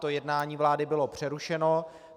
To jednání vlády bylo přerušeno.